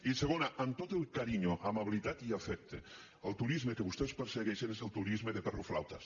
i segona amb tot el carinyo amabilitat i afecte el turisme que vostès persegueixen és el turisme de perroflautas